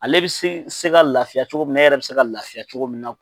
Ale bɛ se se ka lafiya cogo min na e yɛrɛ bɛ se ka lafiya cogo min na.